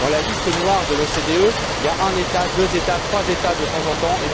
Dans la liste noire de l'OCDE, il y a un État, deux États, trois États de temps en temps